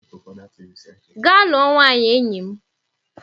Gaa lụọ nwaanyị, enyi m!